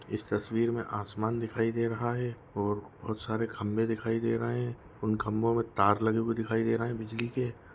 इस तस्वीर मे आसमान दिखाई दे रहा है ओर बहुत सारे खंबे दिखाई दे रहे है उन खंबों मे तार लगे हुए दिखाई दे रहे है बिजली के।